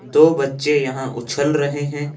दो बच्चे यहां उछल रहे हैं।